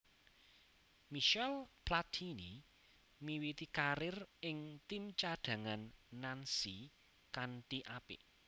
Michel Platini miwiti karir ing tim cadhangan Nancy kanthi apik